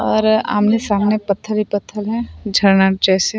और आमने-सामने पत्थर ही पत्थर है झरना जैसे--